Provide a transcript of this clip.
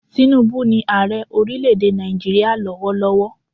Tinubu ni ààre orílẹ̀ èdè Nàìjíríà lọ́wọ́ lọ́wọ́